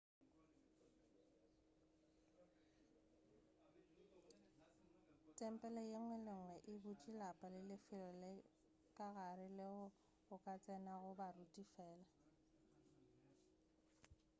tempele yenngwe le yenngwe e butše lapa le lefelo la ka gare leo go ka tsenago baruti fela